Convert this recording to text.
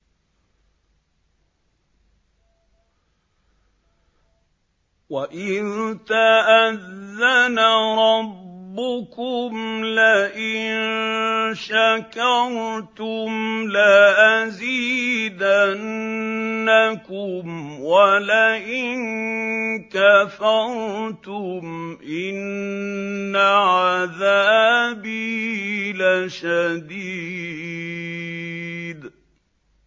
وَإِذْ تَأَذَّنَ رَبُّكُمْ لَئِن شَكَرْتُمْ لَأَزِيدَنَّكُمْ ۖ وَلَئِن كَفَرْتُمْ إِنَّ عَذَابِي لَشَدِيدٌ